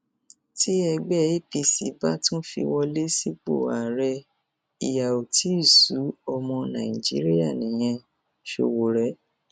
ẹṣẹfẹlẹ di ẹṣẹfẹlẹ di kọsítọmà àwọn adájọ ní kóòtù èyí lohun tó ṣẹlẹ nígbà tó tún fojú balẹẹjọ